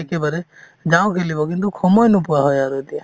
একেবাৰে যাওঁ খেলিব কিন্তু সময় নোপোৱা হয় আৰু এতিয়া